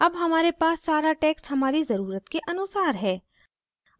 अब हमारे पास सारा text हमारी ज़रुरत के अनुसार है